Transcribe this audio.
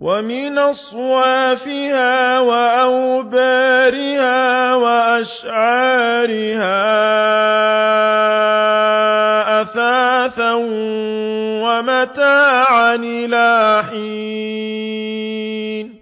وَمِنْ أَصْوَافِهَا وَأَوْبَارِهَا وَأَشْعَارِهَا أَثَاثًا وَمَتَاعًا إِلَىٰ حِينٍ